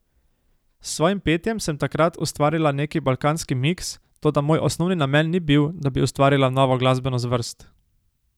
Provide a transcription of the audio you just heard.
S svojim petjem sem takrat ustvarila neki balkanski miks, toda moj osnovni namen ni bil, da bi ustvarila novo glasbeno zvrst.